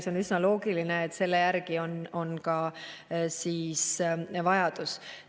See on üsna loogiline, et selle järgi on ka siis vajadus.